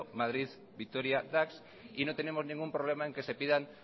madrid vitoria dax y no tenemos ningún problema en que se pidan